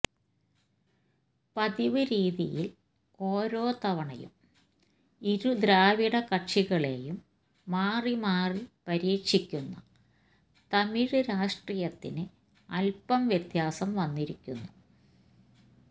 പതിവ് രീതിയില് ഓരോ തവണയും ഇരു ദ്രാവിഡ കക്ഷികളെയും മാറി മാറി പരീക്ഷിക്കുന്ന തമിഴ് രാഷ്ട്രീയത്തിന് അല്പ്പം വ്യത്യാസം വന്നിരിക്കുന്നു